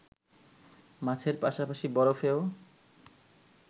মাছের পাশাপাশি বরফেও